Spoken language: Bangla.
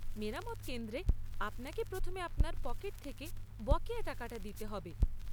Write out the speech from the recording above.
মেরামত কেন্দ্রে আপনাকে প্রথমে আপনার পকেট থেকে বকেয়া টাকাটা দিতে হবে।